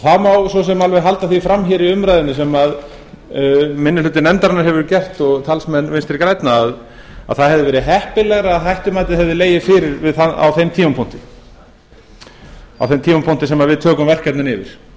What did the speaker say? það má svo sem alveg halda því fram hér í umræðunni sem minni hluti nefndarinnar hefur gert og talsmenn vinstri grænna að það hefði verið heppilegra að hættumatið hefði legið fyrir á þeim tímapunkti sem við tökum verkefnin yfir